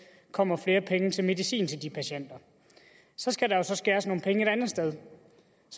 kommer flere penge til medicin til de patienter så skal der skæres ned et andet sted